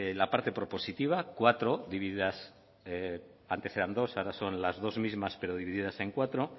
la parte propositiva cuatro divididas antes eran dos ahora son las dos mismas pero divididas en cuatro